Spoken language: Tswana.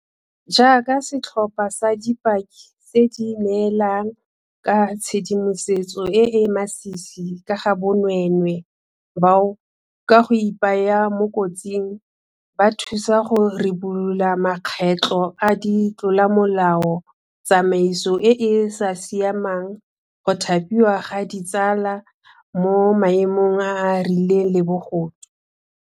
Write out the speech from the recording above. Jaaka setlhopha sa dipaki tse di neelang ka tshedimosetso e e masisi ka ga bonweenwee bao, ka go ipaya mo kotsing, ba thusang go ribolola makgetlo a di tlolomolao, tsamaiso e e sa siamang, go thapiwa ga ditsala mo maemong a a rileng le bogodu.